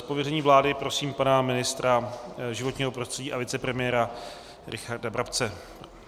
Z pověření vlády prosím pana ministra životního prostředí a vicepremiéra Richarda Brabce.